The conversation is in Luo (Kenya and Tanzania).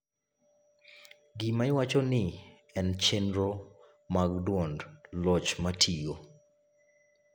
gima iwacho ni en chenro mag duond loch matiyo